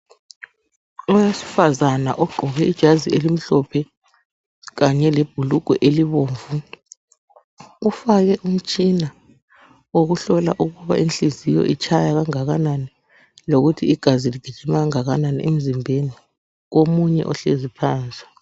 Owesifazana ogqoke ijazi elimhlophe kanye lebhulugwe elibomvu ufake umtshina wokuhlola ukuba inhliziyo itshaya kangakanani lokuthi igazi ligijima kangakanani emzimbeni komunye ohlezi phansi.